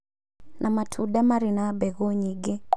na matunda marĩ na mbegũ nyingĩ